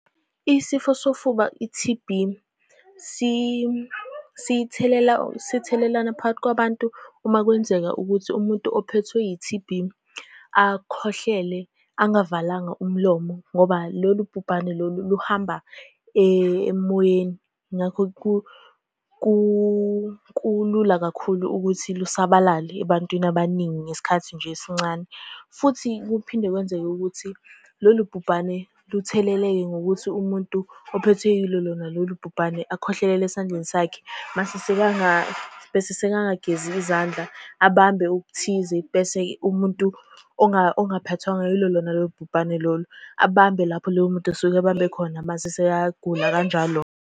Isifo sofuba i-T_B, sithelela, sithelelana phakathi kwabantu uma kwenzeka ukuthi umuntu ophethwe yi-T_B, akhohlele angavalanga umlomo ngoba lolu bhubhane lolu luhamba emoyeni. Ngakho, kulula kakhulu ukuthi lusabalale ebantwini abaningi ngesikhathi nje esincane, futhi kuphinde kwenzeke ukuthi lolu bhubhane lutheleleke ngokuthi umuntu ophethwe yilo lona lolu bhubhane akhwehlelele esandleni sakhe, mase bese sekangagezi izandla abambe okuthize. Bese-ke umuntu ongaphathwanga yilo lona lolu bhubhane lolu, abambe lapho loyo muntu osuke ebambe khona, mase sekayagula kanjalo.